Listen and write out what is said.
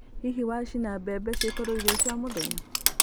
Hihi wacina mbembe cikorwo irio cia mũthenya?